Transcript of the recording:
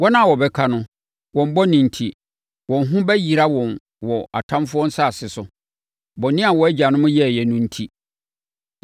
Wɔn a wɔbɛka no, wɔn bɔne enti, wɔn ho bɛyera wɔn wɔ atamfoɔ nsase so, bɔne a wɔn agyanom yɛeɛ no enti.